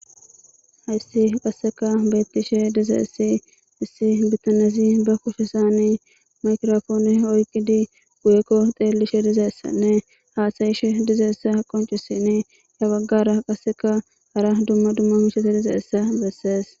Hayssi qasseka beettishe dizeessi issi bitanesi ba kushisani makrofooni oyqidi uekko xeellishe dizeessanne haasayish dizeessa qoncisin ya baggara qasseka hara dumma dumma mishese dizaessa bessees.